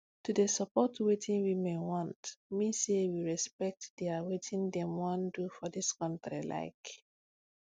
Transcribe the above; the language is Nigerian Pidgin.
to dey support wetin women want mean say we respect dia wetin dem wan do for dis kontri like